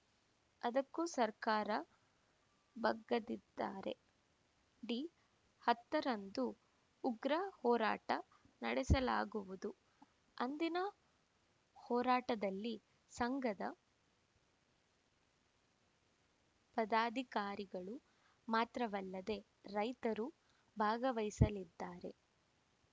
ಅದಕ್ಕೂ ಸರ್ಕಾರ ಬಗ್ಗದಿದ್ದರೆ ಡಿ ಹತ್ತರಂದು ಉಗ್ರ ಹೋರಾಟ ನಡೆಸಲಾಗುವುದು ಅಂದಿನ ಹೋರಾಟದಲ್ಲಿ ಸಂಘದ ಪದಾಧಿಕಾರಿಗಳು ಮಾತ್ರವಲ್ಲದೇ ರೈತರು ಭಾಗವಹಿಸಲಿದ್ದಾರೆ